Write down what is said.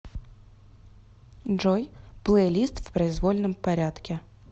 джой плейлист в произвольном порядке